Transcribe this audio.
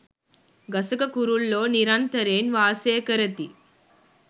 ගසක කුරුල්ලෝ නිරන්තරයෙන් වාසය කරති.